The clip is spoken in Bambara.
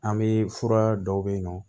An bɛ fura dɔw bɛ yen nɔ